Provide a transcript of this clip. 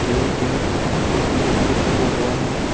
ये एक मंदिर बना हुआ है।